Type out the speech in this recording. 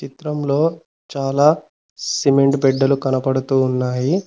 చిత్రంలో చాలా సిమెంట్ బిడ్డలు కనపడుతూ ఉన్నాయి.